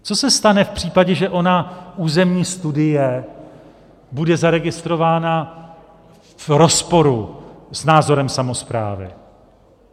Co se stane v případě, že ona územní studie bude zaregistrována v rozporu s názorem samosprávy?